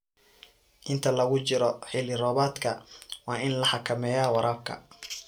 Inta lagu jiro xilli roobaadka, waa in la xakameeyo waraabka.